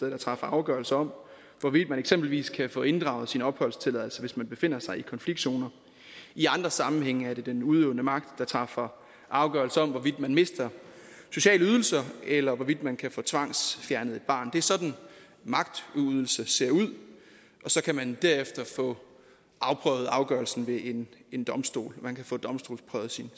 der træffer afgørelse om hvorvidt man eksempelvis kan få inddraget sin opholdstilladelse hvis man befinder sig i konfliktzoner i andre sammenhænge er det den udøvende magt der træffer afgørelse om hvorvidt man mister sociale ydelser eller hvorvidt man kan få tvangsfjernet et barn det er sådan magtudøvelse ser ud så kan man derefter få afprøvet afgørelsen ved en en domstol man kan få domstolsprøvet sin